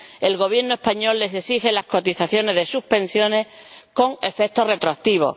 el Gobierno español les exige las cotizaciones de sus pensiones con efecto retroactivo.